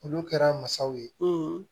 Olu kɛra masaw ye